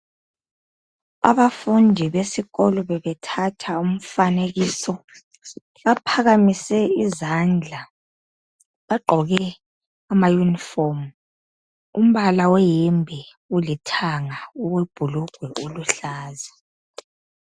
Abafundi besikolo bebethatha umfanekiso .Baphakamise izandla .Bagqoke ama yunifomu. Umbala weyembe ulithanga ,owebhulugwe uluhlaza.